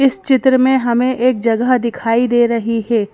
इस चित्र में हमें एक जगह दिखाई दे रही है।